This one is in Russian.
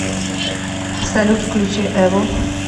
салют включи эво